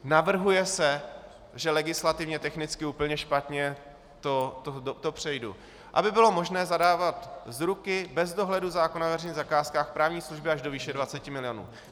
Navrhuje se - že legislativně technicky úplně špatně, to přejdu -, aby bylo možné zadávat z ruky, bez dohledu zákona o veřejných zakázkách, právní služby až do výše 20 milionů.